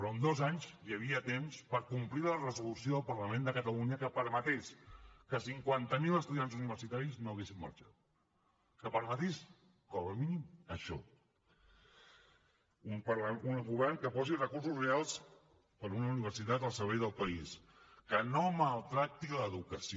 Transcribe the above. però en dos anys hi havia temps per complir la resolució del parlament de catalunya que permetés que cinquanta mil estudiants universitaris no haguessin marxat que permetés com a mínim això un govern que posi recursos reals per una universitat al servei del país que no maltracti l’educació